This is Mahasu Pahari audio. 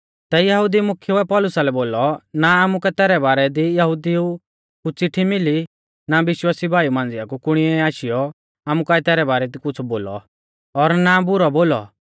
तै यहुदी मुख्येउऐ पौलुसा लै बोलौ ना आमुकै तैरै बारै दी यहुदिऊ कु चिट्ठी मिली ना विश्वासी भाईऊ मांझ़िया कु कुणीऐ आशीयौ आमु काऐ तैरै बारै दी कुछ़ बोलौ और ना बुरौ बोलौ